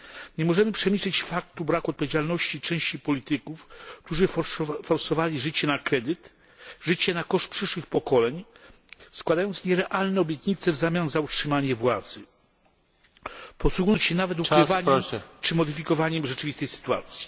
Nie możemy przemilczeć faktu braku odpowiedzialności części polityków, którzy forsowali życie na kredyt, życie na koszt przyszłych pokoleń, składając nierealne obietnice w zamian za utrzymanie władzy, posługując się nawet ukrywaniem czy modyfikowaniem rzeczywistej sytuacji.